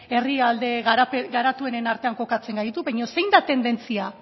herrialde garatuenen artean kokatzen gaitu baino zein da tendentzia